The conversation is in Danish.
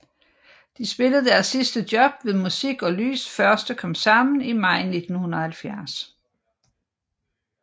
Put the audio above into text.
De spillede deres sidste job ved Musik og Lys første Komsammen i maj 1970